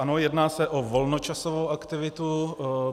Ano, jedná se o volnočasovou aktivitu.